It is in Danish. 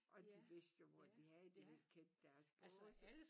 Og de vidste jo hvor de havde det de kendte deres båse